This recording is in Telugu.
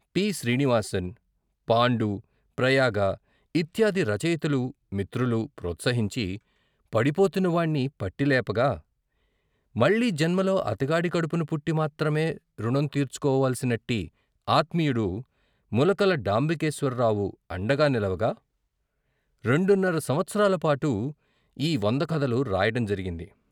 టి. శ్రీనివాసన్, పాండు, ప్రయాగ ఇత్యాది రచయితలు, మిత్రులు ప్రోత్సహించి, పడిపోతున్న వాణ్ణి పట్టి లేపగా, మళ్ళీ జన్మలో అతగాడి కడుపున పుట్టి మాత్రమే ఋణం తీర్చుకోవలసినట్టి ఆత్మీయుడు ములకల డాంబికేశ్వరరావు అండగా నిలవగా, రెండున్నర సంవత్సరాల పాటు ఈ వంద కథలు రాయటం జరిగింది.